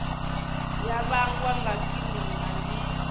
ya vhangwa nga kilima ndi